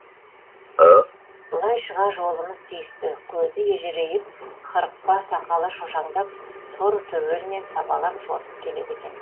былай шыға жолымыз түйісті көзі ежірейіп қырықпа сақалы шошаңдап тор төбелмен сабалап жортып келеді екен